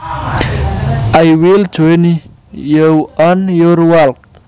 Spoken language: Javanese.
I will join you on your walk